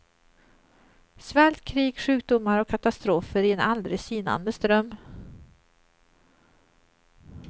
Svält, krig, sjukdomar och katastrofer i en aldrig sinande ström.